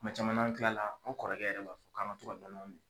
Kuma caman n'an kilala an kɔrɔkɛ yɛrɛ b'a fɔ ko an ka to ka nɔnɔ min.